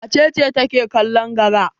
Wace ce take kallon gara?